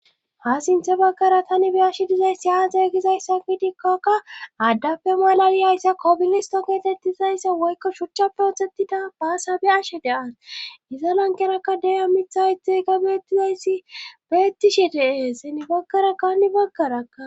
Ha sinthe bagkara tani be ashe dizayssi haa zeegizayssafidikkokka addape malayiyayssa kobilisto keetettizayssa woykko shuchcha protetida baasabe ashe deas giza lankerakka deya mitha itey ga beettizayssi beettishe dee seni baggara kani baggarakka